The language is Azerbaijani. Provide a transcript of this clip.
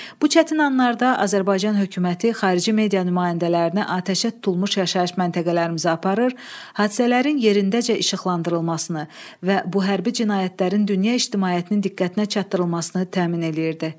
Bu çətin anlarda Azərbaycan hökuməti xarici media nümayəndələrini atəşə tutulmuş yaşayış məntəqələrimizə aparır, hadisələrin yerindəcə işıqlandırılmasını və bu hərbi cinayətlərin dünya ictimaiyyətinin diqqətinə çatdırılmasını təmin eləyirdi.